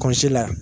Kɔsi la